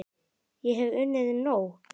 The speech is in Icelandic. Ég hef unnið nóg!